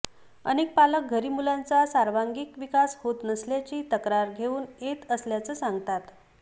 अनेक पालक घरी मुलांचा सर्वांगीण विकास होत नसल्याची तक्रार घेऊन येत असल्याचं सांगतात